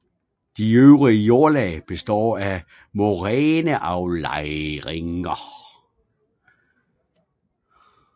De øvre jordlag består af moræneaflejringer